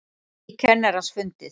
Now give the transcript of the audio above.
Lík kennarans fundið